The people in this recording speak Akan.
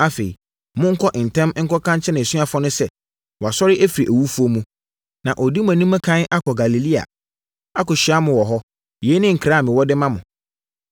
Afei, monkɔ ntɛm nkɔka nkyerɛ nʼasuafoɔ no sɛ, ‘Wasɔre afiri awufoɔ mu, na ɔredi mo anim ɛkan akɔ Galilea akɔhyia mo wɔ hɔ.’ Yei ne nkra a mewɔ de ma mo.”